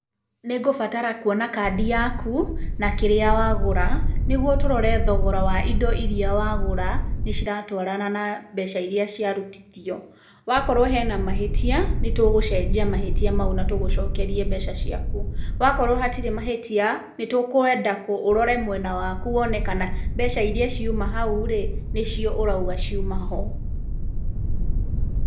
Nĩngũbatara kuona kandi yaku, na kĩrĩa wagũra, nĩguo tũrore thogora wa indo iria wagũra nĩ ciratwarana na mbeca iria ciarutithio. Wakorwo hena mahĩtia nĩtũgũcenjia mahĩtia mau na tũgũcokerie mbeca ciaku. Wakorwo hatirĩ mahĩtia, nĩtũkwenda ũrore mwena waku wone kana mbeca iria ciuma hau-rĩ, nicio ũrauga ciuma ho.